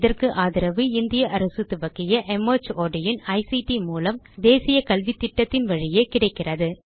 இதற்கு ஆதரவு இந்திய அரசு துவக்கிய மார்ட் இன் ஐசிடி மூலம் தேசிய கல்வித்திட்டத்தின் வழியே கிடைக்கிறது